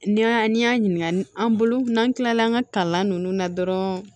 N'i y'a ɲininka an bolo n'an kilala an ka kalan nunnu na dɔrɔn